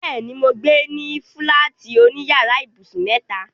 Bẹ́ẹ̀ni, mò ń gbé ní fúláàtì oní yàrá ibùsùn mẹ́ta.